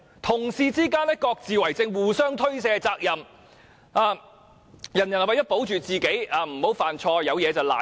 同事之間各自為政，互相推卸責任，人人為求自保，不想犯錯，於是便事事諉過於人。